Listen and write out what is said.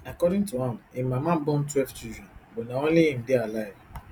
according to am im mama born twelve children but na only im dey alive